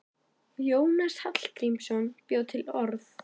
Jónas Hallgrímsson bjó til orð.